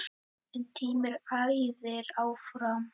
En tíminn æðir áfram.